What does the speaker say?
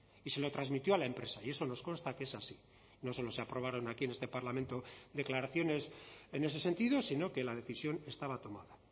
y se lo transmitió a la empresa y eso nos consta que es así no solo se aprobaron aquí en este parlamento declaraciones en ese sentido sino que la decisión estaba tomada